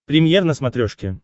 премьер на смотрешке